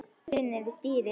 Það er stunið við stýrið.